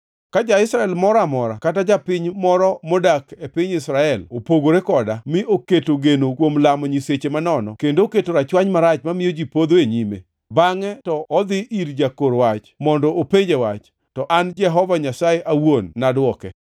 “Ka ja-Israel moro amora kata ka japiny moro modak e piny Israel opogore koda mi oketo geno kuom lamo nyiseche manono kendo oketo rachwany marach mamiyo ji podho e nyime, bangʼe to odhi ir jakor wach mondo openje wach, to an Jehova Nyasaye awuon ema nadwoke.